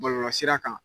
Bɔlɔlɔsira kan